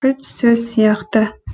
кілт сөз сияқты